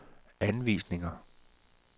anvisninger